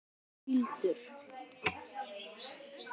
Össur fýldur.